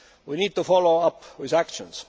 We need to follow up with actions.